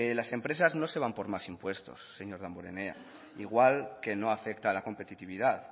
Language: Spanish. las empresas no se van por más impuestos señor damborenea igual que no afecta a la competitividad